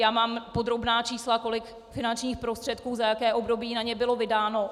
Já mám podrobná čísla, kolik finančních prostředků za jaké období na ně bylo vydáno.